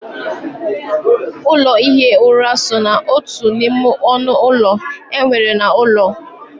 Ụlọ ihi ura so n'otu n'ime ọnụ ụlọ e nwere n'ụlọ.